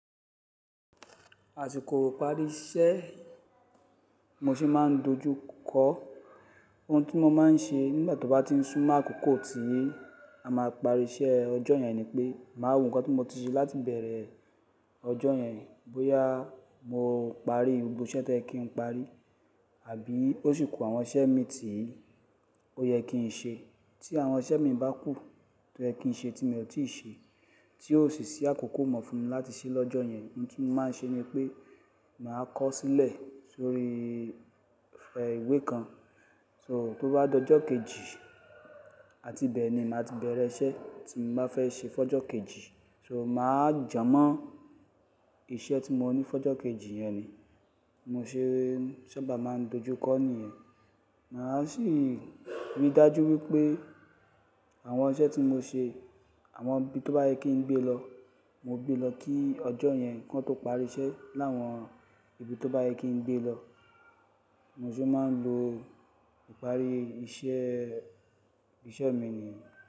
Àsìkò ìparí iṣẹ́ mo ṣe máa ń dojú kọ ohun tí mo máa ń ṣe nígbà tó bá ti ń súnmọ́ àkókò tí a máa parí iṣẹ́ ọjọ́ yẹn ni pé màá wo nǹkan tí mo ti ṣe láti bẹ̀rẹ̀ ọjọ́ yẹn. Bóyá mo parí gbogbo iṣẹ́ tí ẹ kí ń parí àbí ó sì ku àwọn iṣẹ́ mi tí ó yẹ kí n ṣe. Tí àwọn iṣẹ́ mi bá kù tó ẹ kí ń ṣe tí mi ò tíì ṣe tí ó sì ṣí àkókò mọ̀ fún mi láti ṣe lọ́jọ́ yẹn, ohun tí mo máa ń ṣe ni pé màá kọ́ sílẹ̀ sórí ìfẹ ìwé kan. So tó bá dọ́jọ́ kejì, àti bẹ́ẹ̀ ni màá ti bẹ̀rẹ̀ iṣẹ́ tí mo bá fẹ́ ṣe fọ́jọ́ kejì. So màá jámọ̀ iṣẹ́ tí mo ní fọ́jọ́ kejì yẹn ni mo ṣe sábà máa ń dojú kọ ní yen. Màá sì rí dájú wípé àwọn iṣẹ́ tí mo ṣe, àwọn ibi tó bá yẹ kí ń gbé lọ, mo gbé lọ kí ọjọ́ yẹn kó tó parí iṣẹ́ láwọn ibi tó bá yẹ kí ń gbé lọ. Mo sì máa ń lo ìparí iṣẹ́, iṣẹ́ mi nìyẹn.